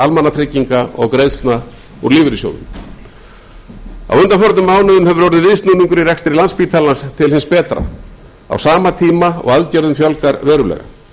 almannatrygginga og greiðslna úr lífeyrissjóðum á undanförnum mánuðum hefur orðið viðsnúningur í rekstri landspítalans til hins betra á sama tíma og aðgerðum fjölgar verulega